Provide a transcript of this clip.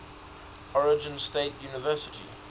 oregon state university